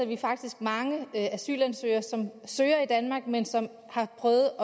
vi faktisk mange asylansøgere som søger i danmark men som har prøvet